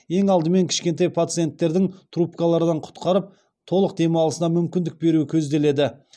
ең алдымен кішкентай пациентердің трубкалардан құтқарып толық демалысына мүмкіндік беру көзделеді